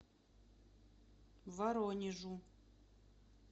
воронежу